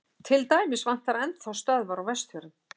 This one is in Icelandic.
til dæmis vantar enn þá stöðvar á vestfjörðum